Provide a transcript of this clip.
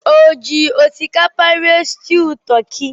O ji osikapa rie stuu toki?